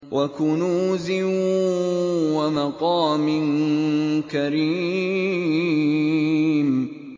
وَكُنُوزٍ وَمَقَامٍ كَرِيمٍ